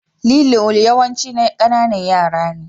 Lilo yawanci na ƙananan yara ne.